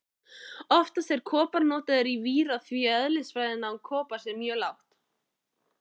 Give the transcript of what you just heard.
Oftast er kopar notaður í víra því eðlisviðnám kopars er mjög lágt.